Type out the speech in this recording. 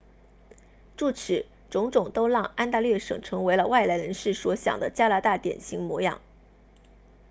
诸此种种都让安大略省成为了外来人士所想的加拿大典型模样